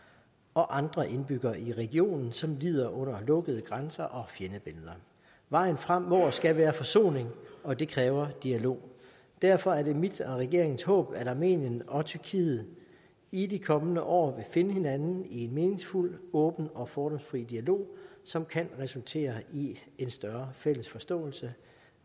og andre indbyggere i regionen som lider under lukkede grænser og fjendebilleder vejen frem må og skal være forsoning og det kræver dialog derfor er det mit og regeringens håb at armenien og tyrkiet i de kommende år finde hinanden i en meningsfuld åben og fordomsfri dialog som kan resultere i en større fælles forståelse